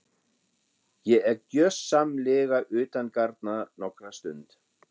Ég er gjörsamlega utangarna nokkra stund.